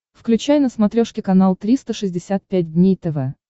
включай на смотрешке канал триста шестьдесят пять дней тв